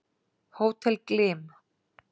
Hótel Glym